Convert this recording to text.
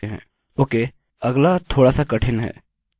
okay अगला थोडासा कठिन है